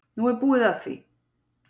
Nú er búið að því.